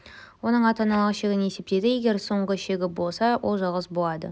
оның ата-аналық шегін есептейді егер соңғы шегі болса ол жалғыз болады